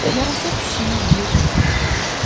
yarasa pişik yeyir deyirdi.